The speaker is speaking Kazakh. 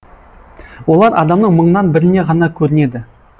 олар адамның мыңнан бірінен ғана көрінеді